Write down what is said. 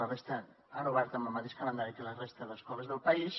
la resta han obert amb el mateix calendari que la resta d’escoles del país